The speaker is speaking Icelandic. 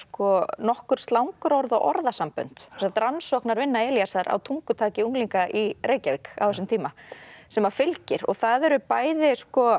nokkur slangurorð og orðasambönd sem sagt rannsóknarvinna Elísar á tungutaki unglinga í Reykjavík á þessum tíma sem að fylgir og það eru bæði